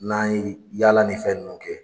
N'an ye yaala nin fɛn ninnu kɛ